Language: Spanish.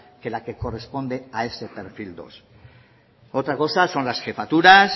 que la que corresponde a ese perfil dos otra cosa son las jefaturas